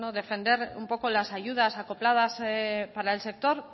defender un poco las ayudas acopladas para el sector